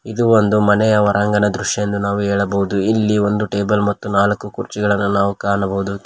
ಇದು ಒಂದು ಮನೆಯ ಹೊರಾಂಗಣ ದೃಶ್ಯ ಎಂದು ನಾವು ಹೇಳಬಹುದು ಇಲ್ಲಿ ಒಂದು ಟೇಬಲ್ ಮತ್ತು ನಾಲ್ಕು ಕುರ್ಚಿಗಳನ್ನ ನಾವು ಕಾಣಬಹುದು.